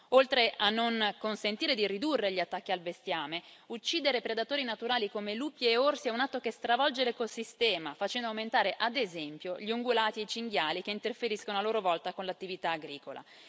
Oltre a non consentire di ridurre gli attacchi al bestiame, uccidere predatori naturali come lupi e orsi è un atto che stravolge l'ecosistema, facendo aumentare ad esempio gli ungulati e i cinghiali, che interferiscono a loro volta con l'attività agricola.